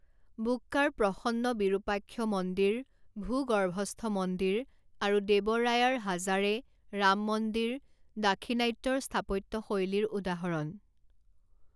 বুক্কাৰ প্ৰসন্ন বিৰুপাক্ষ মন্দিৰ ভূগৰ্ভস্থ মন্দিৰ আৰু দেৱ ৰায়াৰ হাজাৰে ৰাম মন্দিৰ দাক্ষিণাত্যৰ স্থাপত্যশৈলীৰ উদাহৰণ।